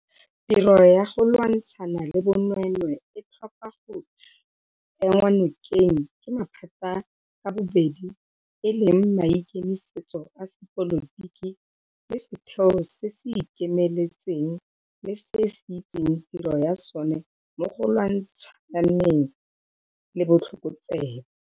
Tiro ya go lwantshana le bonweenwee e tlhoka go enngwa nokeng ke maphata ka bobedi e leng maikemisetso a sepolotiki le setheo se se ikemetseng le se se itseng tiro ya sona mo go lwantshaneng le botlhokotsebe.